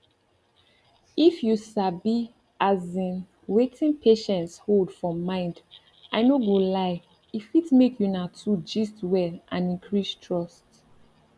if you sabi asin wetin patients hold for mind i no go lie e fit make una two gist well and increase trust